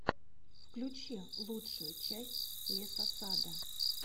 включи лучшую часть лесосада